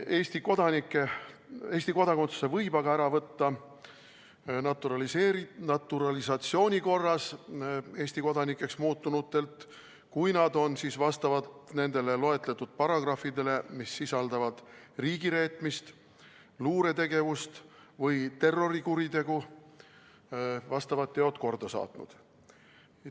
Eesti kodakondsuse võib aga ära võtta naturalisatsiooni korras Eesti kodanikeks saanutelt, kui nad on nendele loetletud paragrahvidele, mis sisaldavad riigireetmist, luuretegevust või terrorikuritegu, vastavad teod korda saatnud.